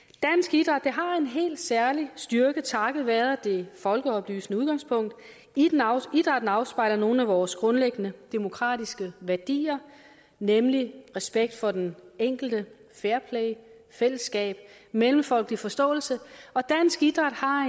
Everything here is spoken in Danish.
idræt har en helt særlig styrke takket være det folkeoplysende udgangspunkt idrætten afspejler nogle af vores grundlæggende demokratiske værdier nemlig respekt for den enkelte fairplay fællesskab og mellemfolkelig forståelse og dansk idræt har